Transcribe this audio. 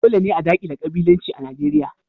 Dole ne a dakile kabilanci a Najeriya.